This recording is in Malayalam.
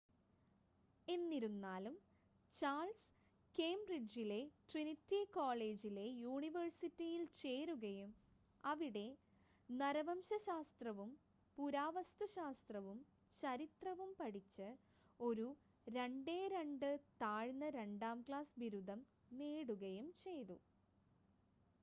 എന്നിരുന്നാലും ചാൾസ് കേംബ്രിഡ്ജിലെ ട്രിനിറ്റി കോളേജിലെ യൂണിവേഴ്സിറ്റിയിൽ ചേരുകയും അവിടെ നരവംശശാസ്ത്രവും പുരാവസ്തുശാസ്ത്രവും ചരിത്രവും പഠിച്ച് ഒരു 2:2 താഴ്ന്ന രണ്ടാം ക്ലാസ് ബിരുദം നേടുകയും ചെയ്തു